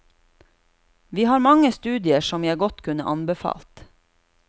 Vi har mange studier som jeg godt kunne anbefalt.